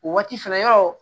O waati fɛnɛ yɔrɔ